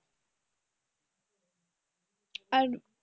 আর,